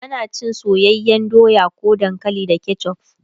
ana cin soyayyan doya ko dankali da ketchuf